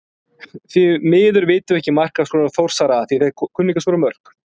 Því miður vitum við ekki markaskorara Þórsara.